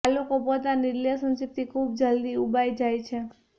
આ લોકો પોતાની રિલેશનશિપથી ખૂબ જલ્દી ઉબાય જાય છે